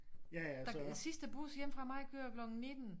Der sidste bus hjemme fra mig kører klokken 19